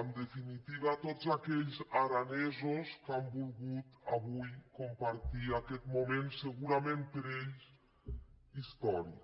en definitiva tots aquells aranesos que han vol·gut avui compartir aquest moment segurament per a ells històric